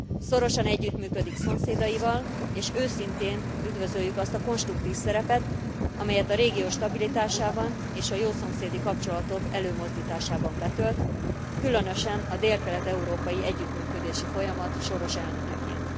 Szorosan együttműködik szomszédaival, és őszintén üdvözöljük azt a konstruktív szerepet, amelyet a régió stabilitásában és a jó szomszédi kapcsolatok előmozdításában betölt, különösen a délkelet európai együttműködési folyamat soros elnökeként.